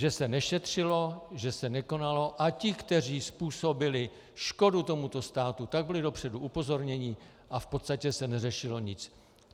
Že se nešetřilo, že se nekonalo, a ti, kteří způsobili škodu tomuto státu, tak byli dopředu upozorněni a v podstatě se neřešilo nic.